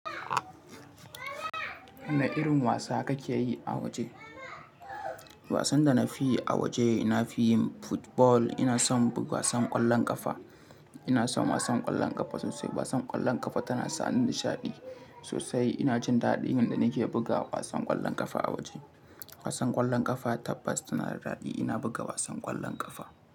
Wane irin wasa kake yi a waje? Wasan da na fiyi a waje, na fiyin football ina son bu wasan ƙwallon ƙafa. Ina son wasan ƙwallon ƙafa sosai. Wasan ƙwallon ƙafa tana sa ni nishaɗi sosai. Ina jin daɗin yanda nake buga wasan ƙwallon ƙafa a waje. Wasan ƙwallon ƙafa tabbas tana da daɗi. Ina buga wasan ƙwallon ƙafa.